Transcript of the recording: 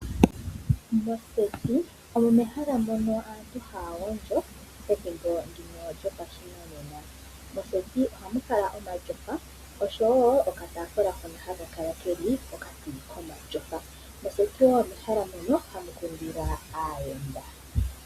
Moseti omo mehala moka aantu haya gondjo pethimbo ndino lyopashinanena. Moseti ohamu kala omatyofa osho woo okataafula hono haka kala keli pokati komatyofa. Moseti woo omehala moka hamu kundilwa aayenda.